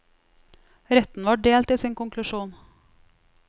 Retten var delt i sin konklusjon.